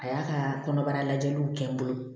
A y'a ka kɔnɔbara lajɛliw kɛ n bolo